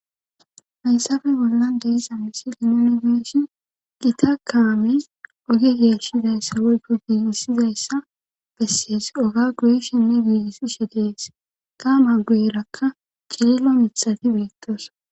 hayssafe bollan de'isza misi linonigeeshi gita kaamiz oge geeshizayssa woykko giigisizayssa bessees oga guyishinne giigisi she dees ka ma gueerakka cililo mithati beittos